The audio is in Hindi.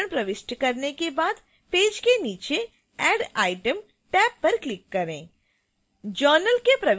सभी विवरण प्रविष्ट करने के बाद पेज के नीचे add item टैब पर क्लिक करें